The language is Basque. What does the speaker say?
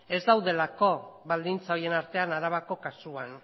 ez daudelako baldintza horien artean arabako kasuan